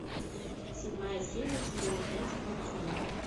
седьмая серия сезона пять волчонок